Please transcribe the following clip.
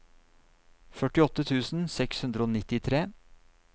førtiåtte tusen seks hundre og nittitre